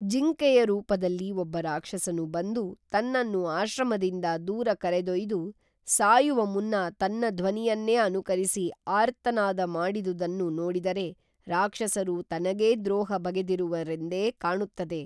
ಜಿಂಕೇಯ ರೂಪದಲ್ಲಿ ಒಬ್ಬ ರಾಕ್ಷಸನು ಬಂದು ತನ್ನನ್ನು ಆಶ್ರಮದಿಂದ ದೂರ ಕರೆದೊಯ್ದು ಸಾಯುವಮುನ್ನ ತನ್ನ ಧ್ವನಿಯನ್ನೇ ಅನುಕರಿಸಿ ಆರ್ತನಾದ ಮಾಡಿದುದನ್ನು ನೋಡಿದರೆ ರಾಕ್ಷಸರು ತನಗೇ ದ್ರೊಹ ಬಗೆದಿರುವರೆಂದೇ ಕಾಣುತ್ತದೆ